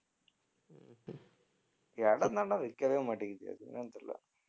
இடம் தான்டா விக்கவே மாட்டேங்குது அது என்னன்னு தெரியல